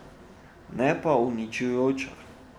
Ne pa uničujoča.